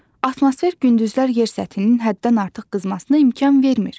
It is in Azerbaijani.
Atmosfer gündüzlər yer səthinin həddən artıq qızmasına imkan vermir.